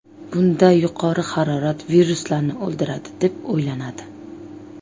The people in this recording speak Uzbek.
Bunda yuqori harorat viruslarni o‘ldiradi deb o‘ylanadi.